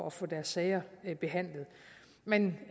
at få deres sager behandlet men